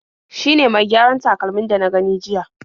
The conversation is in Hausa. Shi ne mai gyaran takalmin da na gani jiya..